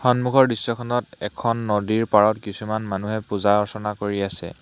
সন্মুখৰ দৃশ্যখনত এখন নদীৰ পাৰত কিছুমান মানুহে পূজা-অৰ্চনা কৰি আছে।